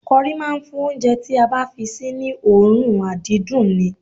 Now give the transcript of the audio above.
Kọrí máa ń fún oúnjẹ tí a bá fi sí ní òórùn àdídùn ni